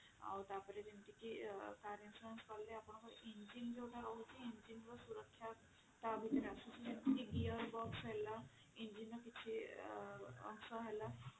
ଆଉ ତାପରେ ଯେମିତି କି car insurance କାଲେ ଆପଣଙ୍କର engine ଯୋଉଟା ରହୁଛି engine ଯେମିତି ହେଲା engine ର କିଛି ଅଂଶ ହେଲା